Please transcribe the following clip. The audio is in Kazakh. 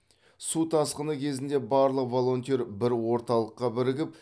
су тасқыны кезінде барлық волонтер бір орталыққа бірігіп